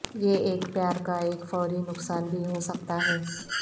یہ ایک پیار کا ایک فوری نقصان بھی ہو سکتا ہے